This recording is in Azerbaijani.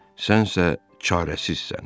Sənsə çarəsizsən.